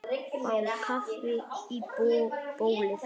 Fá kaffi í bólið.